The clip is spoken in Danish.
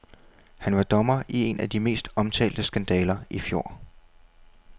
Han var dommer i en af de mest omtalte skandaler i fjor.